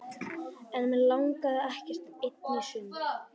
En mig langaði ekkert ein í sund.